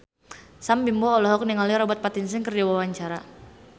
Sam Bimbo olohok ningali Robert Pattinson keur diwawancara